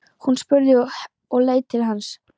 spurði hún og leit til hans.